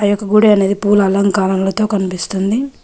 గుడి అనేది పుల అలంకారాలతో కనిపిస్తుంది.